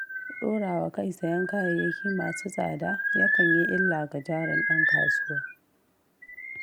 Ɗorawa kai sayen kayayyaki masu tsada, yakan yi illa ga jarin ɗan kasuwa.